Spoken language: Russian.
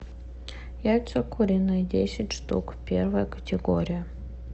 яйца куриные десять штук первая категория